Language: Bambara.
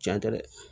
Cɛn tɛ dɛ